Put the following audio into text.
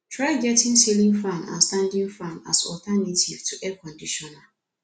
try get ceiling fan and standing fan as alternative to air conditioner